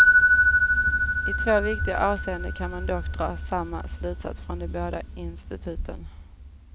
I två viktiga avseenden kan man dock dra samma slutsats från de båda instituten.